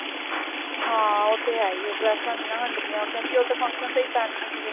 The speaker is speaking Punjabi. ਹਾਂ ਉਹ ਤੇ ਹੈ ਹੀ ਹੈ ਡ੍ਰੇਸਾਂ ਨੀ ਨਾ ਹੰਡਦੀਆਂ ਉਹ ਤੇ function ਤੇ ਹੀ ਪੈਣੀਆਂ ਸਿਰਫ